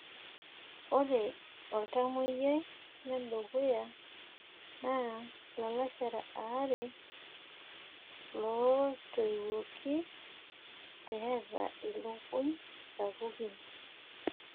ore oltamoyiai le dukuya naa ilalashera aare ootiwuoki eeta ilukuny sapukin.